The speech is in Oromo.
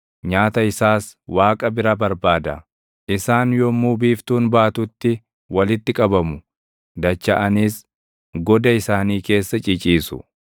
Isaan yommuu biiftuun baatutti walitti qabamu; dachaʼaniis goda isaanii keessa ciciisu.